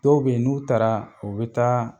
Dɔw bɛ yen, n'u taara u bɛ taa